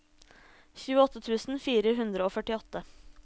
tjueåtte tusen fire hundre og førtiåtte